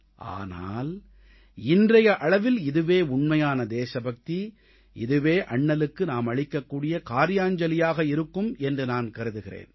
ஆனால் இன்றைய அளவில் இதுவே உண்மையான தேசபக்தி இதுவே அண்ணலுக்கு நாம் அளிக்கக்கூடிய கார்யாஞ்சலியாக இருக்கும் என்று நான் கருதுகிறேன்